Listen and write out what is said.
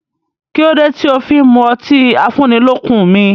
Kí ló dé tí ó fí n mú ọtí afúnnilọ́kun mi?